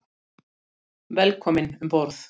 Óska henni engrar hamingju lengur.